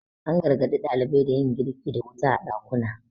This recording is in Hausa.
an gargaɗi ɗalibai da yin girki da wuta a ɗakuna